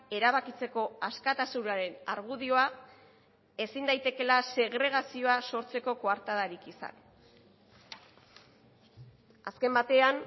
erabakitzeko askatasunaren argudioa ezin daitekeela segregazioa sortzeko koartadarik izan azken batean